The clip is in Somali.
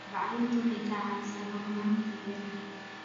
Bacrintu waxay ka caawisaa horumarinta beeraha.